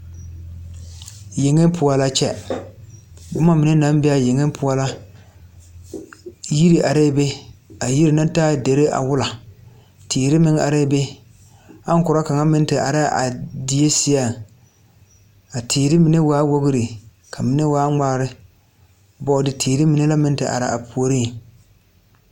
Yeŋe poɔ la kyɛ bomma mine naŋ be aa yeŋe poɔ la yire arɛɛ be a yiri na taa derre awola teere meŋ areɛɛ be aŋkorɔ kaŋa meŋ te areɛɛ a die seɛŋ a teere mine waa wogre ka mine waa ngmaara bɔɔde teere mine la meŋ te are a puoriŋ.